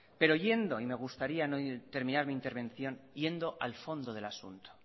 me gustaría terminar mi intervención yendo al fondo del asunto